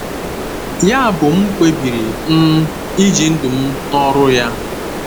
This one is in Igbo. Yabụ m kpebiri um iji ndụ m na ọrụ ya.